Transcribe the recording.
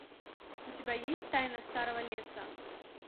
у тебя есть тайна старого леса